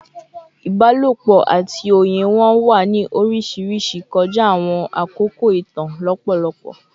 Ibalopo ati oye wọn wa ni oriṣiriṣi kọja awọn akoko itan lọpọlọpọ